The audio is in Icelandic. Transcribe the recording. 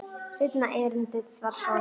Seinna erindið var svona